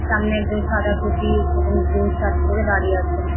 সামনে একজন সাদা টুপি এবং গ্রিন শার্ট পড়ে দাঁড়িয়ে আছেন ।